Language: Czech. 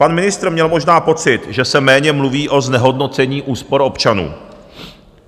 Pan ministr měl možná pocit, že se méně mluví o znehodnocení úspor občanů.